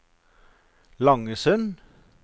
Langesund